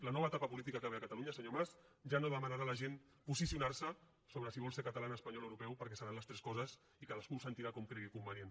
la nova etapa política que ve a catalunya senyor mas ja no demanarà a la gent posicionar se sobre si vol ser català espanyol o europeu perquè seran les tres coses i cadascú ho sentirà com cregui convenient